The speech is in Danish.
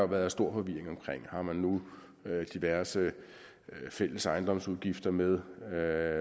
været stor forvirring om man nu har diverse fælles ejendomsudgifter med hvad det